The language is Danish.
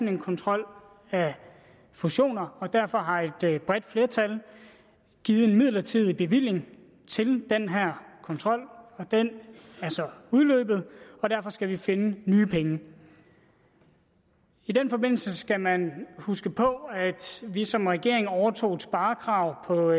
en kontrol af fusioner og derfor har et bredt flertal givet en midlertidig bevilling til den her kontrol den er så udløbet og derfor skal vi finde nye penge i den forbindelse skal man huske på at vi som regering overtog et sparekrav for